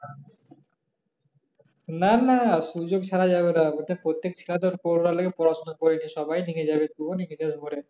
না না সুযোগ ছাড়া যাবে না প্রত্যেক ছেলে ধর করোনা লেগে পড়াশোনা করে নাই সবাই ঢেগে যাবে তুও ঢেগে যাবি ভরে